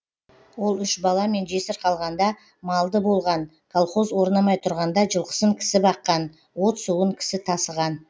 ол үш баламен жесір қалғанда малды болған колхоз орнамай тұрғанда жылқысын кісі баққан от суын кісі тасыған